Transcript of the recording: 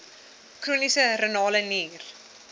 chroniese renale nier